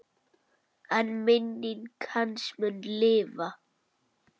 En minning hans mun lifa.